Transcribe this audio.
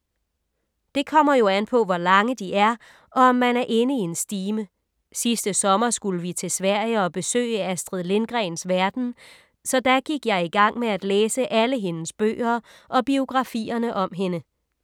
Det kommer jo an på hvor lange de er og om man er inde i en stime. Sidste sommer skulle vi til Sverige og besøge Astrid Lindgrens Verden, så da gik jeg i gang med at læse alle hendes bøger og biografierne om hende.